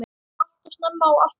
Alltof snemma og alltof fljótt.